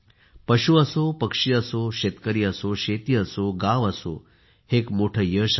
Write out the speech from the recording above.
पशु असो पक्षी असो शेतकरी असो शेती असो गाव असोहे एक मोठे यश आहे